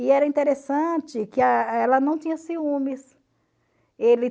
E era interessante que ela não tinha ciúmes. Ele